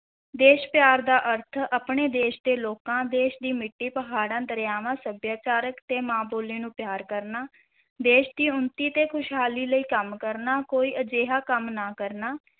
ਦੇਸ਼ ਪਿਆਰ ਦਾ ਅਰਥ ਆਪਣੇ ਦੇਸ਼ ਦੇ ਲੋਕਾਂ, ਦੇਸ਼ ਦੀ ਮਿੱਟੀ, ਪਹਾੜਾਂ, ਦਰਿਆਵਾਂ, ਸੱਭਿਆਚਾਰਕ ਤੇ ਮਾਂ ਬੋਲੀ ਦਾ ਨੂੰ ਪਿਆਰ ਕਰਨਾ, ਦੇਸ਼ ਦੀ ਉੱਨਤੀ ਤੇ ਖੁਸ਼ਹਾਲੀ ਲਈ ਕੰਮ ਕਰਨਾ, ਕੋਈ ਅਜਿਹਾ ਕੰਮ ਨਾ ਕਰਨਾ,